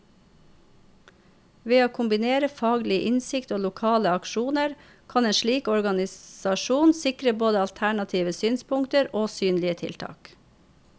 Ved å kombinere faglig innsikt og lokale aksjoner, kan en slik organisasjon sikre både alternative synspunkter og synlige tiltak.